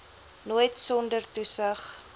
nooit sonder toesig